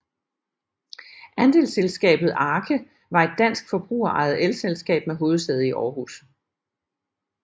Andelsselskabet ARKE var et dansk forbrugerejet elselskab med hovedsæde i Aarhus